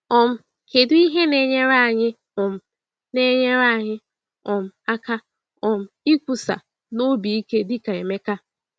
um Kedụ ihe na-enyere anyị um na-enyere anyị um aka um ikwusa n’obi ike dị ka Emeka?